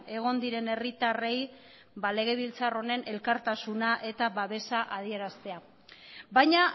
egon diren herritarrei legebiltzar honen elkartasuna eta babesa adieraztea baina